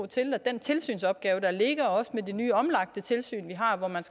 til den tilsynsopgave der ligger med det nye omlagte tilsyn vi har hvor man